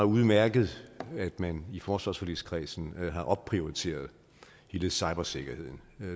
udmærket at man i forsvarsforligskredsen har opprioriteret hele cybersikkerheden